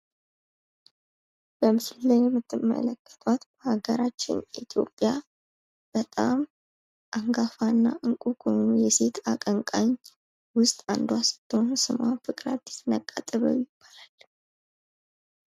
በምስሉ ላይ የምትመለከቷት በሃገራችን ኢትዮጵያ በጣም አንጋፋ እና እንቆ ከሆነ የሴት አቀንቃኝ ውስጥ አንዷ ስትሆን ስሟም ፍቅረ-አዲስ ነቅዓ-ጥበብ ይባላል።